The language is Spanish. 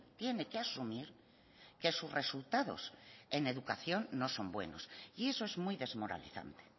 tiene que asumir que sus resultados en educación no son buenos y eso es muy desmoralizante